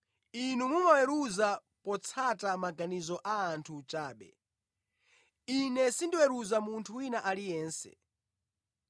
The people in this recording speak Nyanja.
Inu mumaweruza potsata maganizo a anthu chabe. Ine sindiweruza munthu wina aliyense.